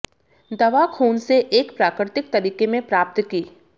दवा खून से एक प्राकृतिक तरीके में प्राप्त की